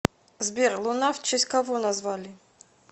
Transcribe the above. сбер луна в честь кого назвали